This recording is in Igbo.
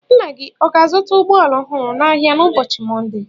Nna gị ọ ga-azụta ụgbọ ala ọhụrụ n'ahịa n'ụboochi Mọnde?